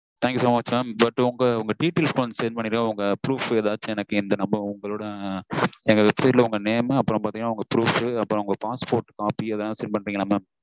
thank you so much mam but உங்க details send பண்ணிருங்க உங்க proof ஏதாச்சும் எனக்கு இந்த number உங்களொட எங்க website ல உங்க name அப்புறம் பாத்தீங்கனா உங்களொட proof அப்புறம் passport copy அதெல்லாம் send பண்றீங்களா mam